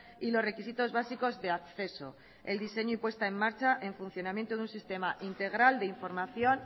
y los requisitos básicos de acceso el diseño impuesta en marcha el funcionamiento de un sistema integral de información